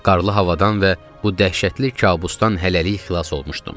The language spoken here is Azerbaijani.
Qarlı havadan və bu dəhşətli kabusdan hələlik xilas olmuşdum.